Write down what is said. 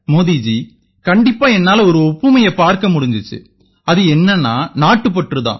மோதி ஜி கண்டிப்பா என்னால ஒரு ஒப்புமையைப் பார்க்க முடிஞ்சுது அது என்னென்னா நாட்டுப்பற்று தான்